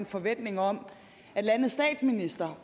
forventning om at landets statsminister